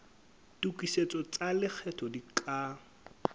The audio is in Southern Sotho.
tokisetso tsa lekgetho di ka